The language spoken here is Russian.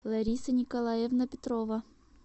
лариса николаевна петрова